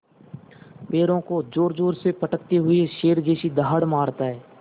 पैरों को ज़ोरज़ोर से पटकते हुए शेर जैसी दहाड़ मारता है